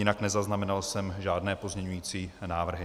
Jinak nezaznamenal jsem žádné pozměňující návrhy.